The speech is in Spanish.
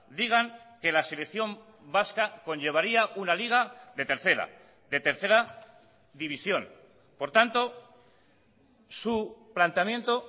digan que la selección vasca conllevaría una liga de tercera de tercera división por tanto su planteamiento